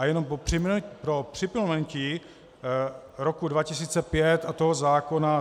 A jenom pro připomenutí roku 2005 a toho zákona.